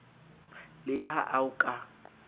le ha a o ka